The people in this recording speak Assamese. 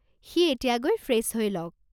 সি এতিয়া গৈ ফ্রেছ হৈ লওক।